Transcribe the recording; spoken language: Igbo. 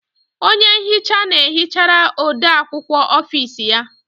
Onye nhicha na-ehichara ode akwukwọ ọfici ya.